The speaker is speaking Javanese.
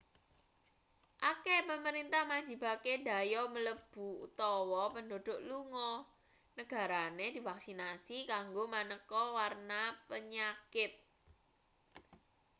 akeh pemerintah majibake dhayoh mlebu utawa penduduk lunga negarane divaksinasi kanggo maneka warna penyakit